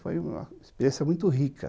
Foi uma experiência muito rica.